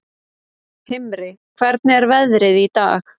Himri, hvernig er veðrið í dag?